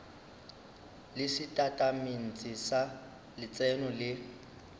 le setatamente sa letseno le